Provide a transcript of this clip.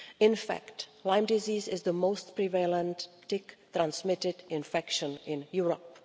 In fact, Lyme disease is the most prevalent tick transmitted infection in Europe.